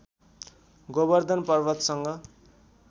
Govardhan पर्वतसँग